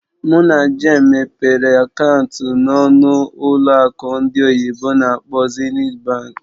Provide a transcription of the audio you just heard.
Mụ na Jane mepere akaụntụ ọnụ n'ụlọ akụ ndị oyibo n'akpọ "Zenith Bank".